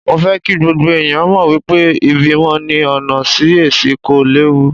Mo fẹ́ kí gbogbo ẹ̀yàn mọ̀ wípé ìbímọ ní ọ̀nà Sí-Ẹsì kò léwu.